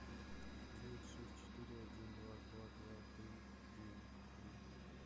девять шесть четыре один два два два три девять три